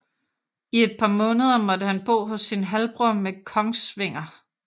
I et par måneder måtte han bo hos sin halvbror ved Kongsvinger